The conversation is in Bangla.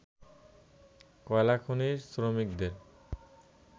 কয়লাখনির শ্রমিকদের